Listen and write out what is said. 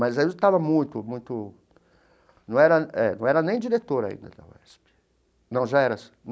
Mas eu estava muito muito... Não era eh não era nem diretor ainda da UESP. Não já era sim.